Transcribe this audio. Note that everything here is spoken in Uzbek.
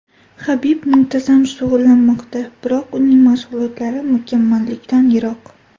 Habib muntazam shug‘ullanmoqda, biroq uning mashg‘ulotlari mukammallikdan yiroq.